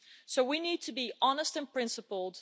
So we need to be honest and principled.